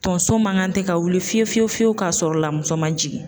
Tonso man kan tɛ ka wuli fiye fiye fiye fiyewu k'a sɔrɔ la muso man jigin